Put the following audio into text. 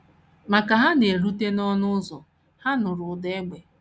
Ma ka ha na - erute n’ọnụ ụzọ, ha nụrụ ụda égbè.